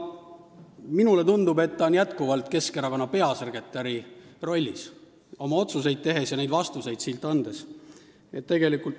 Minule tundub, et ta on oma otsuseid tehes ja siin vastuseid andes ikka Keskerakonna peasekretäri rollis.